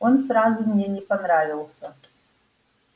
он сразу мне не понравился